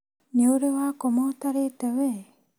Nĩ ũrĩ wakoma ũtarĩte wee?